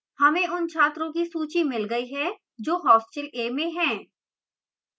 हमें उन छात्रों की सूची मिल गई है जो hostel a में हैं